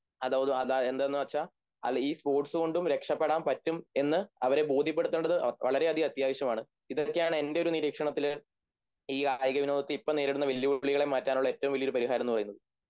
എന്തൊന്നുവെച്ചാൽ ഈ സ്പോർട്സുകൊണ്ടും രക്ഷപ്പെടാൻ പറ്റും എന്ന് അവരെ ബോധ്യപ്പെടുത്തേണ്ടത് വളരെയധികം അത്യാവശ്യമാണ് ഇതൊക്കെയാണ് എൻ്റെ ഒരു നിരീക്ഷണത്തില് ഈ കായികവിനോദത്തിൽ ഇപ്പോൾ നേരിടുന്ന വെല്ലുവിളികളെ മാറ്റാനുള്ള ഏറ്റവും വലിയൊരു പരിഹാരമെന്നുപറയുന്നത്